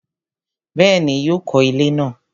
Bẹ́ẹ̀ni, yóò kọ ilẹ́ náà